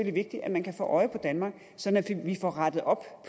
vigtigt at man kan få øje på danmark så vi får rettet op